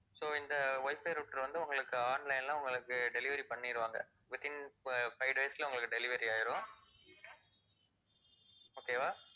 so இந்த wifi router வந்து உங்களுக்கு online ல உங்களுக்கு delivery பண்ணிடுவாங்க, within fi~ five days ல உங்களுக்கு delivery ஆகிடும். okay வா